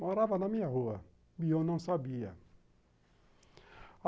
Morava na minha rua, e eu não sabia.